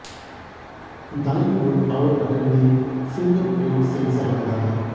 दाईं ओर power button में फिंगरप्रिंट सेंसर लगा है